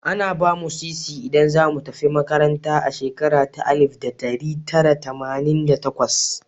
Ana ba mu Sisi idan za mu tafi makaranta a shekara ta Alif da ɗari Tara Tamanin da takwas.